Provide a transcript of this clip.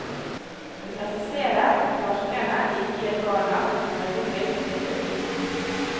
Hun presiserer at parkene ikke gir barna et pedagogisk tilbud.